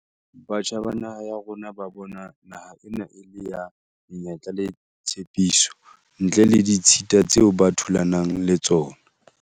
Batjha ba naha ya rona ba bona naha ena e le ya menyetla le tshepiso, ntle le ditshita tseo ba thulanang le tsona.